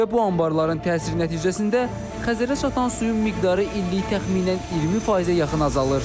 Və bu anbarların təsir nəticəsində Xəzərə çatan suyun miqdarı illik təxminən 20%-ə yaxın azalır.